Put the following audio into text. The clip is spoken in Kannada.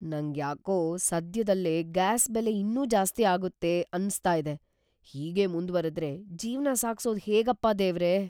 ನಂಗ್ಯಾಕೋ ಸದ್ಯದಲ್ಲೇ ಗ್ಯಾಸ್ ಬೆಲೆ ಇನ್ನೂ ಜಾಸ್ತಿ ಆಗುತ್ತೆ ಅನ್ಸ್ತಾ ಇದೆ. ಹೀಗೇ ಮುಂದ್ವರೆದ್ರೆ ಜೀವ್ನ ಸಾಗ್ಸೋದ್‌ ಹೇಗಪ್ಪ ದೇವ್ರೇ!